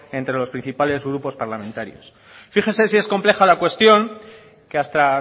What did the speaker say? entre los principales grupos parlamentarios fíjese si es compleja la cuestión que hasta